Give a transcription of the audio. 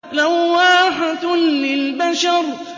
لَوَّاحَةٌ لِّلْبَشَرِ